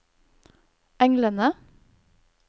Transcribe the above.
englene